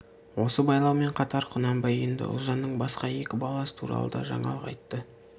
осы байлаумен қатар құнанбай енді ұлжанның басқа екі баласы туралы да жаңалық айтты